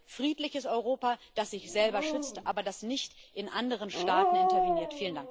Wir wollen ein friedliches Europa, das sich selber schützt, aber das nicht in anderen Staaten interveniert.